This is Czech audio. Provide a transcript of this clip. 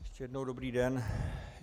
Ještě jednou dobrý den.